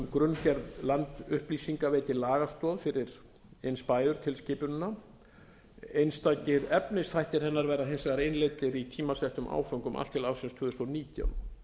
grunngerð landupplýsinga veiti lagastoð fyrir inspayor tilskipunina einstakir efnisþættir hennar verða hins vegar innleiddir í tímasettum áföngum allt til ársins tvö þúsund og nítján